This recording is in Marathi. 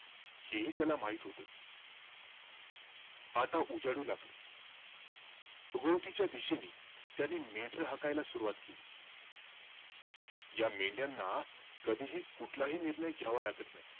हेही त्याला माहित होतं. आता उजाडू लागलं. उगवतीच्या दिशेनी त्याने मेंढरं हाकायला सुरवात केली. या मेंढ्याना कधीही, कुठलाही निर्णय घ्यावा लागत नाही.